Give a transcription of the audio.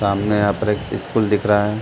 सामने यहाँ पर एक स्कूल दिख रहा है।